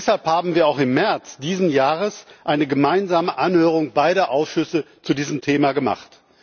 Deshalb haben wir auch im März dieses Jahres eine gemeinsame Anhörung beider Ausschüsse zu diesem Thema durchgeführt.